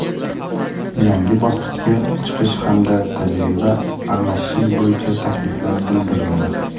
yangi bosqichga chiqish hamda tajriba almashish bo‘yicha takliflar bildirildi.